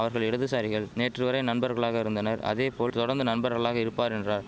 அவர்கள் இடதுசாரிகள் நேற்று வரை நண்பர்களாக இருந்தனர் அதே போல் தொடர்ந்து நண்பர்களாக இருப்பார் என்றார்